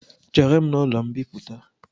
Chere m n’ụlọ mbịpụta